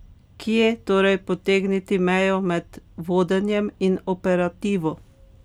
Kje torej potegniti mejo med vodenjem in operativo?